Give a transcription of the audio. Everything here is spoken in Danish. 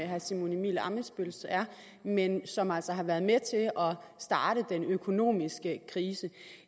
herre simon emil ammitzbølls er men som altså har været med til at starte den økonomiske krise